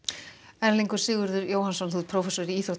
Erlingur Sigurður Jóhannsson prófessor í íþrótta